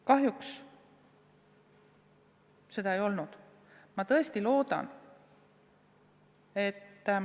Kahjuks seda tuge ei saada.